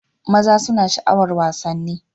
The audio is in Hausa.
maza suna sha'awar wasanni